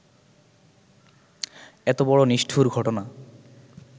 এত বড় নিষ্ঠুর ঘটনা